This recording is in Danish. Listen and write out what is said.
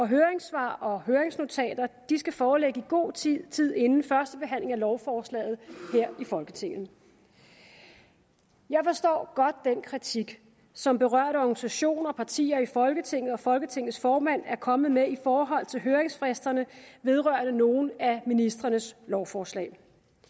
høringssvar og høringsnotater skal forelægge i god tid tid inden første behandling af lovforslaget her i folketinget jeg forstår godt den kritik som berørte organisationer partier i folketinget og folketingets formand er kommet med i forhold til høringsfristerne vedrørende nogle af ministrenes lovforslag